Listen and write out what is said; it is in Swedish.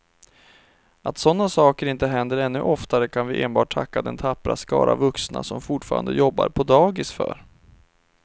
Att sådana saker inte händer ännu oftare kan vi enbart tacka den tappra skara vuxna som fortfarande jobbar på dagis för.